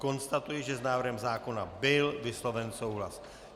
Konstatuji, že s návrhem zákona byl vysloven souhlas.